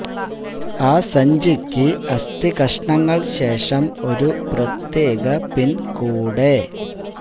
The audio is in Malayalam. ആ സഞ്ചിക്ക് അസ്ഥി കഷണങ്ങൾ ശേഷം ഒരു പ്രത്യേക പിൻ കൂടെ